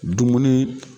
Dumuni